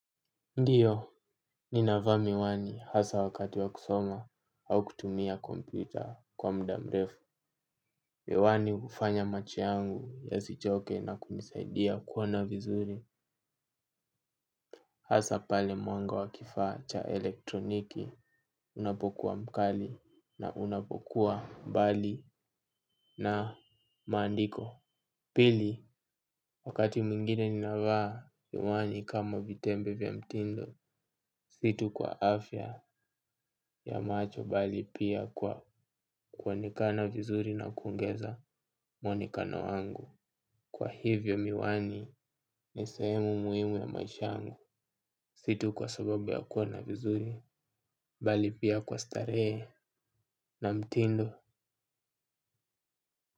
Ndiyo, ninavaa miwani hasa wakati wa kusoma au kutumia kompyuta kwa muda mrefu. Miwani hufanya macho yangu yasichoke na kunisaidia kuona vizuri. Hasa pale mwanga wa kifaa cha elektroniki unapokuwa mkali na unapokuwa mbali na maandiko. Pili, wakati mwingine ninavaa miwani kama vitendo bya mtindo, si tu kwa afya ya macho bali pia kwa kuonekana vizuri na kuongeza mwonekano wangu. Kwa hivyo miwani ni sehemu muhimu ya maisha yangu, si tu kwa sababu ya kuona vizuri, bali pia kwa starehe na mtindo.